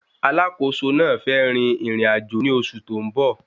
Alákòóso náà fẹ́ rin ìrìn-àjò ní oṣù tó ń bọ̀.